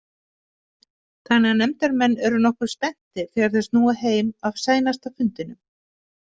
Þannig að nefndarmenn eru nokkuð spenntir þegar þeir snúa heim af seinasta fundinum.